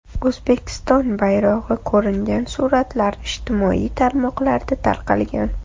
O‘zbekiston bayrog‘i ko‘ringan suratlar ijtimoiy tarmoqlarda tarqalgan .